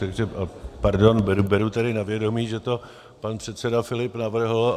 Takže pardon, beru tedy na vědomí, že to pan předseda Filip navrhl.